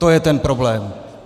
To je ten problém.